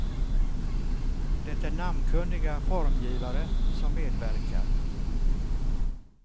Det är namnkunniga formgivare som medverkar.